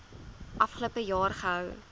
afgelope jaar gehou